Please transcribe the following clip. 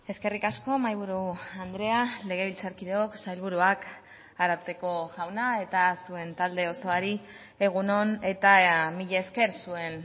eskerrik asko mahaiburu andrea legebiltzarkideok sailburuak ararteko jauna eta zuen talde osoari egun on eta mila esker zuen